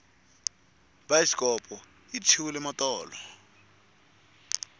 bayisikopo yi tshwile matolo